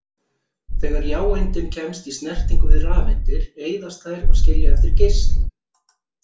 Þegar jáeindin kemst í snertingu við rafeindir eyðast þær og skilja eftir geislun.